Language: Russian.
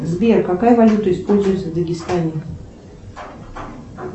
сбер какая валюта используется в дагестане